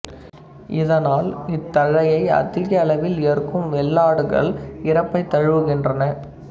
இதனால் இத்தழையை அதிக அளவில் ஏற்கும் வெள்ளாடுகள் இறப்பைத் தழுவுகின்றன